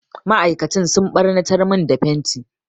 Ma'aikatan sun ɓarnatar min da fenti.